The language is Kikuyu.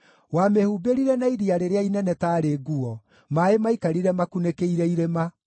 Wamĩhumbĩrire na iria rĩrĩa inene taarĩ nguo; maaĩ maikarire makunĩkĩire irĩma.